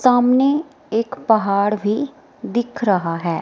सामने एक पहाड़ भी दिख रहा है।